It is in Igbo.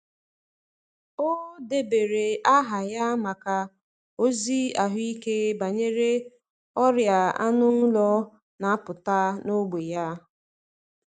Ọ um debere aha um ya maka ozi ahụike um banyere ọrịa anụ ụlọ na-apụta n’ógbè ya.